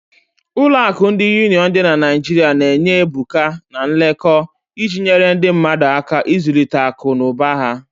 Ụlọ akụ ndi Union dị na Naijiria na-enye ebuka, na nkekọ, iji nyere ndị mmadu aka ịzụlite akụ na ụba ha.